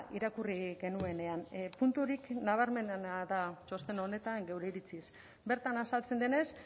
irakurri genuenean puntu horiekin nabarmenena da txosten honetan geure iritsiz bertan azaltzen denez